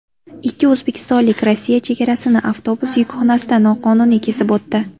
Ikki o‘zbekistonlik Rossiya chegarasini avtobus yukxonasida noqonuniy kesib o‘tdi.